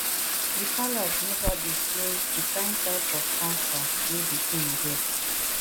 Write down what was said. di palace neva disclose di kain type of cancer wey di king get